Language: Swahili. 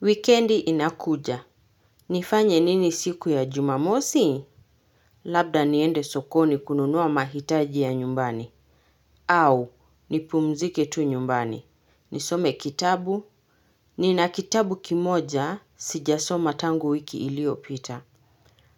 Wikendi inakuja. Nifanye nini siku ya jumamosi? Labda niende sokoni kununua mahitaji ya nyumbani. Au, nipumzike tu nyumbani. Nisome kitabu. Nina kitabu kimoja sijasoma tangu wiki iliopita.